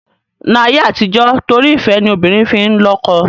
Ni ayé àtijọ́ torí ìfẹ́ ni obìnrin fi n lọ́kọ